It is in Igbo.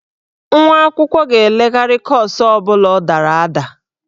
Nwa akwụkwọ ga-elegharị kọọsụ ọ bụla ọ dara ada.